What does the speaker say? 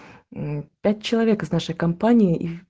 мм пять человек из нашей компании и